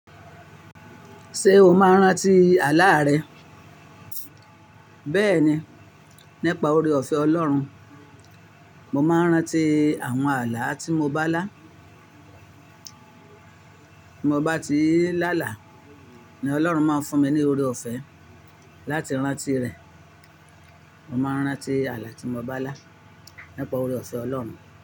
Ṣé o máa ń rántí àlá rẹ? Béẹ̀ni, nípa oore-ọ̀fẹ́ Ọlọ́run, mo máa ń rántí àwọn àlá tí mo bá lá. Bí mo bá ti lá àlá, ni Ọlọ́run máa ń fún mi ní oore-ọ̀fẹ́ láti rántí rẹ̀. Mo máa ń rántí àlá tí mo bá lá, nípa oore-ọ̀fẹ́ Ọlọ́run.